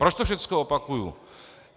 Proč to všechno opakuji?